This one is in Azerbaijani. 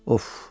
Of!